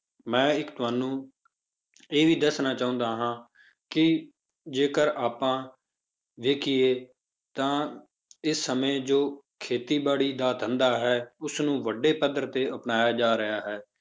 ਮੈਂ ਇੱਕ ਤੁਹਾਨੂੰ ਇਹ ਵੀ ਦੱਸਣਾ ਚਾਹੁੰਦਾ ਹਾਂ ਕਿ ਜੇਕਰ ਆਪਾਂ ਵੇਖੀਏ ਤਾਂ ਇਸ ਸਮੇਂ ਜੋ ਖੇਤੀਬਾੜੀ ਦਾ ਧੰਦਾ ਹੈ, ਉਸਨੂੰ ਵੱਡੇ ਪੱਧਰ ਤੇ ਅਪਣਾਇਆ ਜਾ ਰਿਹਾ ਹੈ,